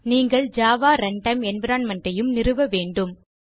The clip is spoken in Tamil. நீங்கள் ஜாவா ரன்டைம் என்வைரன்மென்ட் ஐயும் நிறுவ வேன்டும்